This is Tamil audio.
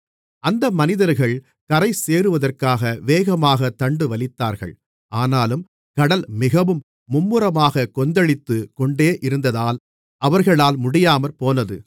அந்த மனிதர்கள் கரைசேருவதற்காக வேகமாகத் தண்டுவலித்தார்கள் ஆனாலும் கடல் மிகவும் மும்முரமாகக் கொந்தளித்துக் கொண்டேயிருந்ததால் அவர்களால் முடியாமற்போனது